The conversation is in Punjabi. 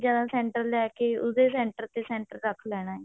ਜਿਵੇਂ center ਲੈ ਕੇ ਉਹਦੇ center ਤੇ center ਰੱਖ ਲੈਣਾ